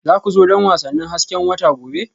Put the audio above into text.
Za ku zo don wasannin hasken wata gobe?